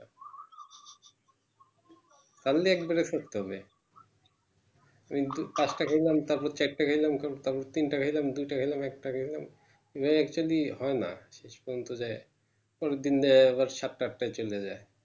ছাড়লে একবারে ছাড়তে হবে একটু একটা খাইলাম তারপর চারটে খাইলাম তারপর তিনটে খাইলাম দুটা খাইলাম একটা খাইলাম ইয়া actually হয়না শেষ পর্যন্ত যায় পরেরদিন দেহে আবার সাতটা আটটাও চলে যায়